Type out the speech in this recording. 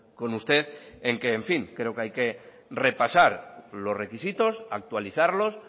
con usted que creo que en fin hay que repasar los requisitos actualizarlos